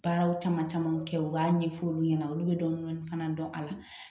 Baaraw caman camanw kɛ u b'a ɲɛfɔ olu ɲɛna olu bɛ dɔnni fana dɔn a la